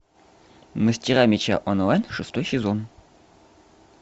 мастера меча онлайн шестой сезон